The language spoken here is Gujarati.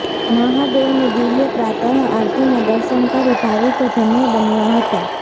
મહાદેવની દિવ્ય પ્રાતઃ આરતીના દર્શન કરી ભાવિકો ધન્ય બન્યા હતા